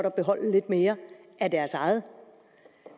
at beholde lidt mere af deres eget